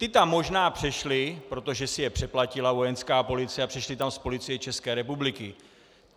Ti tam možná přešli, protože si je přeplatila Vojenská policie, a přišli tam z Policie České republiky.